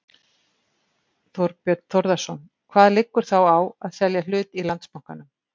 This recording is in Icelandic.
Þorbjörn Þórðarson: Hvað liggur þá á að selja hlut í Landsbankanum?